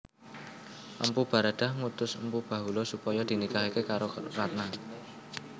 Empu Baradah ngutus Empu Bahula supaya dinikahahe karo Ratna